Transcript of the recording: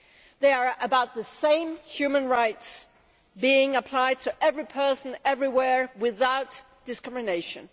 They are about the same human rights being applied to every person everywhere without discrimination.